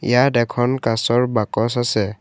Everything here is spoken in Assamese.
ইয়াত এখন কাঁচৰ বাকচ আছে।